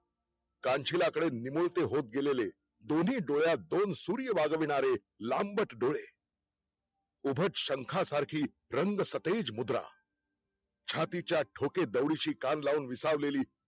कानशिलाकडे निमुळते होत गेलेले, दोनही डोळ्यात दोन सूर्य वाजविणारे लांबट डोळे उभट शंखा सारखी रंगसतेज मुद्रा छातीच्या ठोकेदौडुची कान लावून विसावलेली